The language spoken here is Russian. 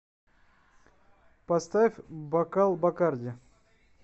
поставь бокал бакарди